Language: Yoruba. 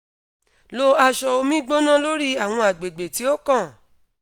lo aṣọ omi gbona lori awọn agbegbe ti o kan